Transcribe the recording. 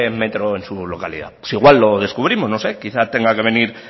metro en su localidad pues igual lo descubrimos no sé quizás tenga que venir